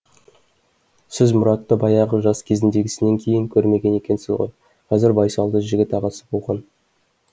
сіз мұратты баяғы жас кезіндегісінен кейін көрмеген екенсіз ғой қазір байсалды жігіт ағасы болған